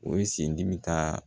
O ye sen dimi taaa